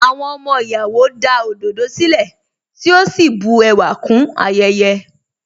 Àwọn ọmọ ìyàwó da òdòdó sílẹ̀, tí ó sì bu ẹwà kún ayẹyẹ.